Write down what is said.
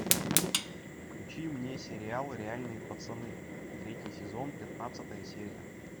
включи мне сериал реальные пацаны третий сезон пятнадцатая серия